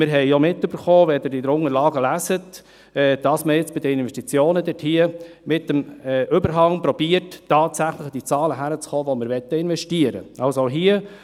Wir haben auch mitbekommen – und Sie können es in den Unterlagen lesen –, dass man bei den Investitionen mit dem Überhang versucht, tatsächlich an die Zahlen heranzukommen, die wir investieren möchten.